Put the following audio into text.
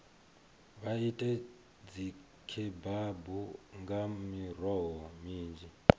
vha ite dzikhebabu nga miroho minzhi